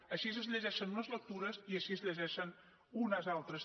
així es llegeixen les lectures i així es llegeixen unes altres